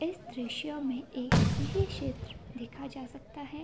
इस दृश्य में एक कृषि क्षेत्र देखा जा सकता है।